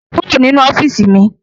Kúrò nínú ọ́fíìsì mi!